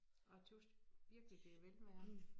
Jeg tøs virkelig det velvære